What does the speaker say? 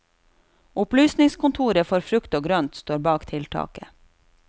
Opplysningskontoret for frukt og grønt står bak tiltaket.